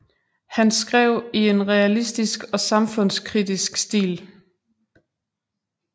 Han skrev i en realistisk og samfundskritisk stil